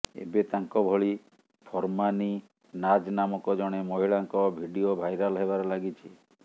ଏବେ ତାଙ୍କ ଭଳି ଫର୍ମାନୀ ନାଜ୍ ନାମକ ଜଣେ ମହିଳାଙ୍କ ଭିଡିଓ ଭାଇରାଲ ହେବାରେ ଲାଗିଛି